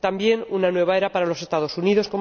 También una nueva era para los Estados Unidos